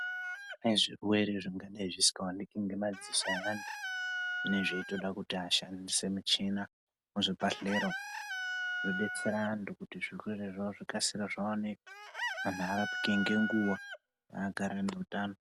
Kune zvirwe zvingadai zvisinga onekwe ngemadziso evantu vinenge zveitosa kuti vashandise michina muzvibhedhlera umu zvinodetsera antu kuti zvirwere izvozvo zvikasire zvionekwe anhu arapike ne guwa agare neutano.